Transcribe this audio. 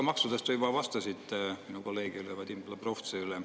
Maksude kohta te juba vastasite mu kolleegile Vadim Belobrovtsevile.